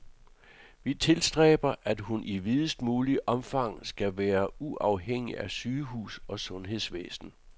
Vi tilstræber, at hun i videst mulige omfang skal være uafhængig af sygehus og sundhedsvæsen.